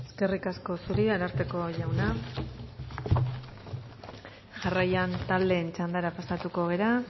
eskerrik asko zuri ararteko jauna jarraian taldeen txandara pasatuko gara